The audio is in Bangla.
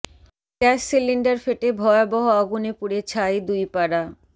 গ্যাস সিলিন্ডার ফেটে ভয়াবহ আগুনে পুড়ে ছাই দুই পাড়া